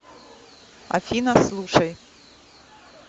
афина слушай